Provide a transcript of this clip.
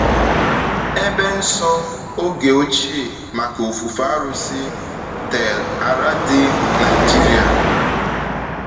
Ebe nsọ oge ochie maka ofufe arụsị, Tel Aradi, Naịjiria.